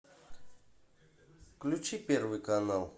включи первый канал